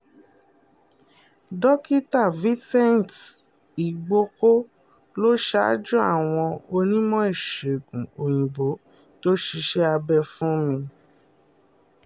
dókítà vincent igbóko ló ṣáájú àwọn onímọ̀-ìṣègùn òyìnbó tó ṣiṣẹ́ abẹ fún mi